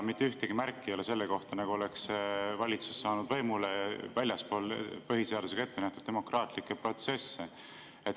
Mitte ühtegi märki ei ole selle kohta, nagu oleks valitsus saanud võimule väljaspool põhiseadusega ette nähtud demokraatlikke protsesse.